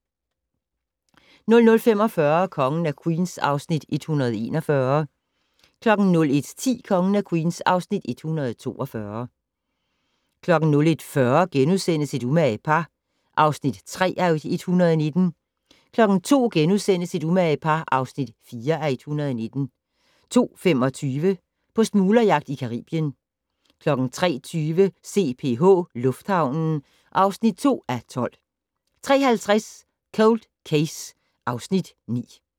00:45: Kongen af Queens (Afs. 141) 01:10: Kongen af Queens (Afs. 142) 01:40: Et umage par (3:119)* 02:00: Et umage par (4:119)* 02:25: På smuglerjagt i Caribien 03:20: CPH - lufthavnen (2:12) 03:50: Cold Case (Afs. 9)